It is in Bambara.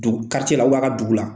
Don la a ka dugu la.